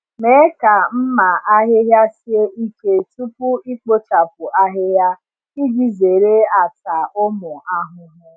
Mee ka mma ahịhịa sie ike tupu ikpochapụ ahịhịa iji zere ata ụmụ ahụhụ.